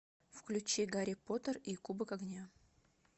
включи гарри поттер и кубок огня